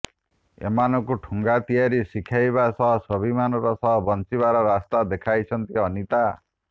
ଏମାନଙ୍କୁ ଠୁଙ୍ଗା ତିଆରି ଶିଖାଇବା ସହ ସ୍ୱାଭିମାନର ସହ ବଂଚିବାର ରାସ୍ତା ଦେଖାଇଛନ୍ତି ଅନିତା